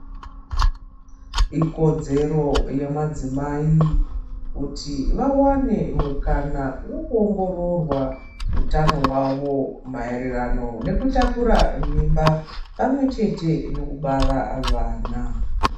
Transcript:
Ikodzero yemadzimai kuti vawane mukana wekuongororwa utano hwavo mairirano nekutakura mimba pamwechete nekubara vana.